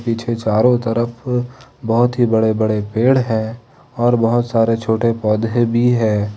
पीछे चारो तरफ बहोत ही बड़े बड़े पेड़ हैं और बहोत सारे छोटे पौधे भी हैं।